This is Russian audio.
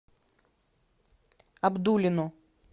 абдулино